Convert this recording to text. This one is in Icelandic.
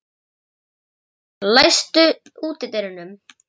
Reynar, læstu útidyrunum.